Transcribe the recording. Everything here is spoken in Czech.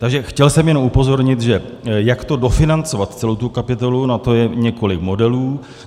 Takže chtěl jsem jenom upozornit, že jak to dofinancovat, celou tu kapitolu, na to je několik modelů.